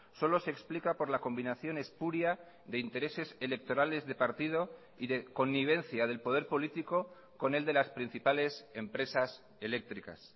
solo se explica por la combinación espuria de intereses electorales de partido y de connivencia del poder político con el de las principales empresas eléctricas